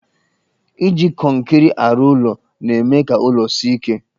Iji kọnkịrị arụ ụlọ na-eme ka ụlọ sie ike.